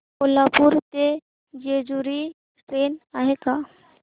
कोल्हापूर ते जेजुरी ट्रेन आहे का